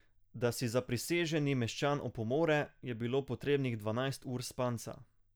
Da si zapriseženi meščan opomore, je bilo potrebnih dvanajst ur spanca.